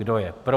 Kdo je pro?